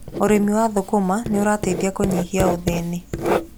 Ũrĩmi wa thũkũma nĩ ũrateithĩrĩria kũnyihia ũthĩni.